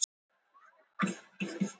Milla hristi höfuðið.